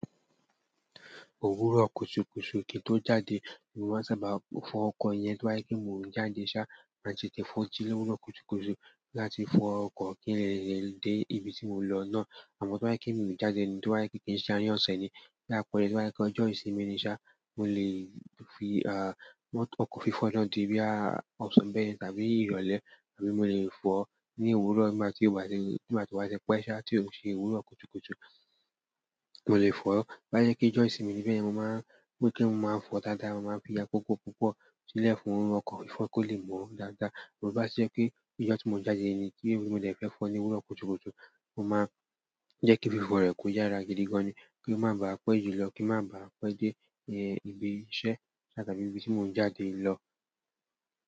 Òwúrọ̀ kùtùkùtù kí n tó jáde, mo máa sábà fọ ọkọ̀ yẹn tó bá jé pé mò n jáde ṣá, màá ti tètè kọ́ jí lówùúrò kùtùkùtù láti fọ ọkọ̀ kí n lè dé ibi tí mò ń lọ náà. Àmó tó bá jé pé mi ò jáde ni, tó bá jé pé kìí ń se àárín ọ̀sẹ̀ ni, ní àpere tó bá jé pé ojó ìsinmi ni sá, mo lè fí ọkọ̀ fífò náà di bí á òsán bẹ́ẹ̀ yen tàbí ìrọ̀lẹ́ mo lè fò ó ní òwúrọ̀ nígbà tí ó bá ti, nígbà tí ó bá ti pé ṣá tí òun ṣe òwúrọ̀ kùtùkùtù, mo lè fò o tó bá jé pé ojó ìsinmi bẹ́ẹ̀ yen, mo máa n, bíí kíi máa fọ dáadáa, mo máa n fi àkókò púpọ̀ sílẹ̀ fún ọkọ̀ ìfọ̀ọ́ kó lè mọ̀ ọ́ daada bó bá jé pé ijọ́ tí mò ń jáde ni tí mo dẹ̀ fẹ́ fọ ní òwúrọ̀ kùtùkùtù, mo máa jẹ́ kí fífọ̀ rẹ̀ kó yára gidi gan ni, kí n má ba pẹ́ jù lọ, kí n má ba pẹ́ dé ibi iṣẹ́ ṣá tàbí ibi tí mò ń jáde lọ.